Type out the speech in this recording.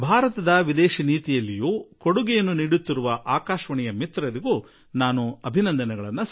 ವಿದೇಶಾಂಗ ನೀತಿಯಲ್ಲೂ ತಮ್ಮ ದೇಣಿಗೆ ನೀಡುತ್ತಿರುವುದಕ್ಕಾಗಿ ನಾನು ಆಕಾಶವಾಣಿಯ ಮಿತ್ರರನ್ನು ಅಭಿನಂದಿಸುವೆ